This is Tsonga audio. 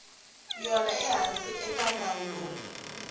yona ehansi ka nawu lowu